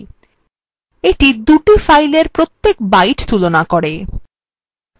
এইটা দুই filesএর প্রত্যেক byte তুলনা করে